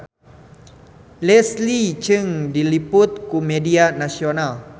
Leslie Cheung diliput ku media nasional